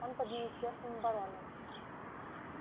он под министерством обороны